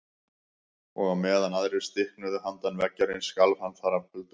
Og á meðan aðrir stiknuðu handan veggjarins skalf hann þar af kulda.